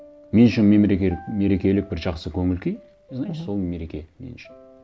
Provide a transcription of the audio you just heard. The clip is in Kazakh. мен үшін мерекелік бір жақсы көңіл күй и значит мхм сол мереке мен үшін